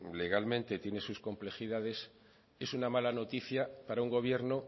legalmente tiene sus complejidades es una mala noticia para un gobierno